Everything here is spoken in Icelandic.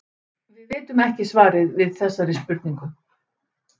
Við vitum ekki svarið við þessari spurningu.